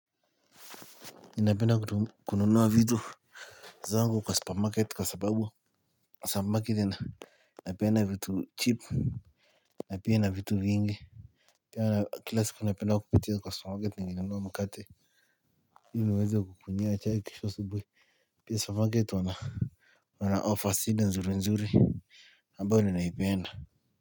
Ninapenda kununua vitu zangu kwa supermarket kwa sababu kwa supermarket ina inapeana vitu cheap na pia ina vitu vingi. Kwa kila siku napenda kupitia kwa supermarket nikinunua mkate. Ili niweze kukunywia chai kesho asubuhi. Pia supermarket wanaoffer sida nzuri nzuri ambayo ninaipenda.